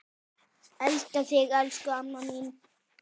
Hvað ef hún berst ekki?